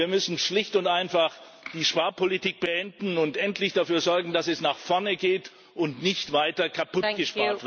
Wir müssen schlicht und einfach die Sparpolitik beenden und endlich dafür sorgen, dass es nach vorne geht und nicht weiter kaputtgespart wird.